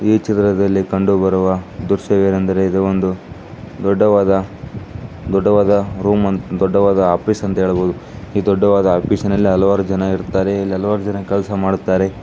ಈ ಚಿತ್ರದಲ್ಲಿ ಕಂಡುಬರುವ ಒಂದು ದೊಡ್ಡದಾದ ಬಿಲ್ಡಿಂಗ್ ಆಗಿದೆ ಬಿಲ್ಡಿಂಗ್ ಮುಂದೆ ಗಿಡಮರಗಳು ಇವೆ ಹೊಲ್ಲೋ ಇದೆ.